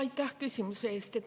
Aitäh küsimuse eest!